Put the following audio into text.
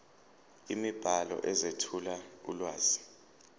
imibhalo ezethula ulwazi